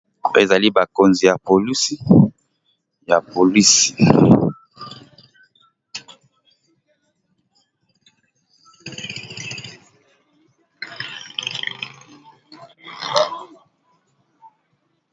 Oyo ezali bakonzi ya police ya police